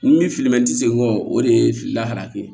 Ni min filiman tɛ se kɔ o de ye fili la ye